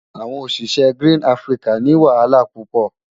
Awon osise Green Africa ni wahala pupo.